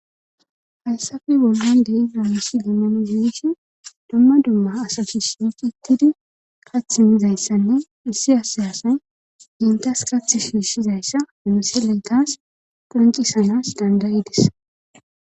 Hayssafe bonan dei namishi gimmano giishi domma domma asasish qittidi kathimizayssanne issi asayasay gintas kath shiishshizayssa minoseleytas purnqisanas dandayidis.